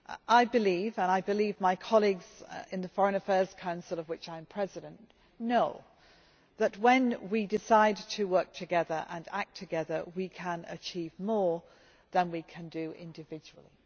I believe and my colleagues in the Foreign Affairs Council, of which I am President, know that when we decide to work together and act together, we can achieve more than we can do individually.